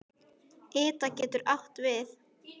Ida getur átt við